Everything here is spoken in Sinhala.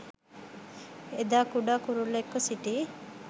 එදා කුඩා කුරුල්ලෙක්ව සිටි